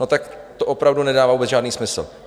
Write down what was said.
No, tak to opravdu nedává vůbec žádný smysl.